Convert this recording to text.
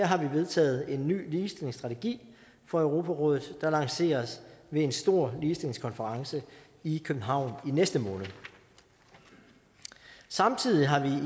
har vi vedtaget en ny ligestillingsstrategi for europarådet der lanceres ved en stor ligestillingskonference i københavn i næste måned samtidig har vi